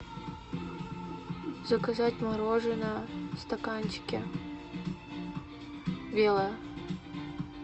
заказать мороженое в стаканчике белое